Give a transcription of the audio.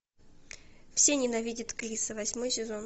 все ненавидят криса восьмой сезон